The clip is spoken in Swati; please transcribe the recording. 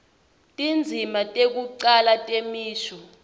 tindzima tekucala nemisho